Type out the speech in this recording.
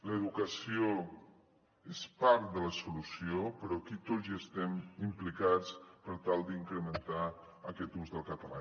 l’educació és part de la solució però aquí tots hi estem implicats per tal d’incrementar aquest ús del català